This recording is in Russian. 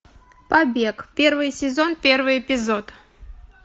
побег первый сезон первый эпизод